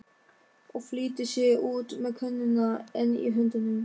Og flýtir sér út með könnuna enn í höndunum.